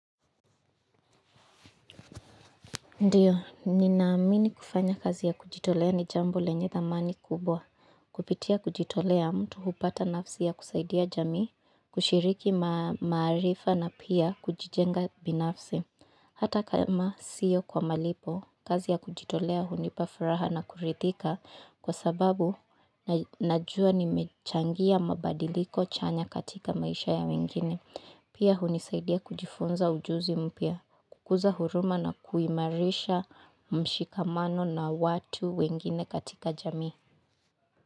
Ndiyo, ninaamini kufanya kazi ya kujitolea ni jambo lenye thamani kubwa, kupitia kujitolea mtu hupata nafsi ya kusaidia jamii, kushiriki maarifa na pia kujijenga binafsi. Hata kama siyo kwa malipo, kazi ya kujitolea hunipa furaha na kuridhika kwa sababu najua nimechangia mabadiliko chanya katika maisha ya wengine. Pia hunisaidia kujifunza ujuzi mpya, kukuza huruma na kuimarisha mshikamano na watu wengine katika jamii.